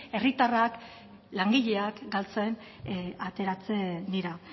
herritarrak langileak galtzen ateratzen dira